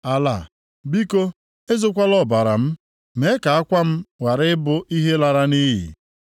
“Ala, biko, ezokwala ọbara m; mee ka akwa m ghara ịbụ ihe lara nʼiyi!